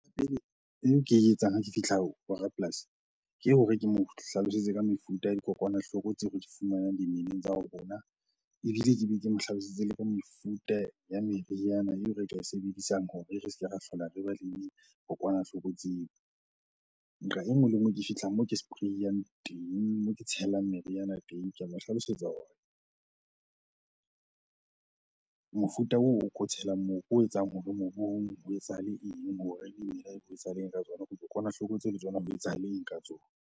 Ke e etsang, ha ke fihla ho rapolasi ke hore ke mo hlalosetse ka mefuta ya dikokwanahloko tseo re di fumanang dimeleng tsa ho rona. Ebile ke be ke mo hlalosetse le ka mefuta ya meriana eo re ka e sebedisang hore re se ke ra hlola re ba le dikokwanahloko tseo. Nqa e nngwe le e nngwe e ke fihlang, moo ke spray-ang teng, moo ke tshelang meriana teng. Ke a mo hlalosetsa hore mofuta oo o ko tshelang moo ke o etsang hore mobu etsahale eng? hore dimela ho etsahale eng ka tsona? dikokwanahloko tseo le tsona ho etsahale eng ka tsona?